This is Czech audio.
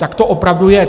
Tak to opravdu je.